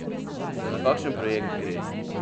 Za kakšen projekt gre?